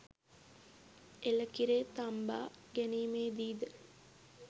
එළකිරේ තම්බා ගැනීමේ දී ද